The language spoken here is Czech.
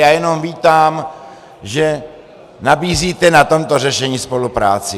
Já jenom vítám, že nabízíte na tomto řešení spolupráci.